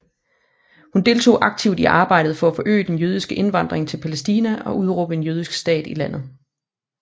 Hun deltog aktivt i arbejdet for at forøge den jødiske indvandring til Palæstina og udråbe en jødisk stat i landet